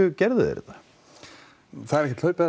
gerðu þeir þetta það er ekkert hlaupið